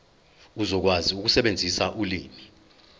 uzokwazi ukusebenzisa ulimi